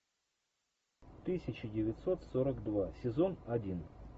тысяча девятьсот сорок два сезон один